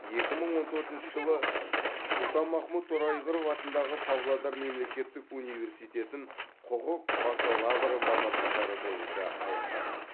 екі мың он төртінші жылы сұлтанмахмұт торайғыров атындағы павлодар мемлекеттік университетін құқық бакалавры мамандықтары бойынша аяқтаған